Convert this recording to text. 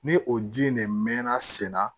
Ni o ji in de mɛɛnna sen na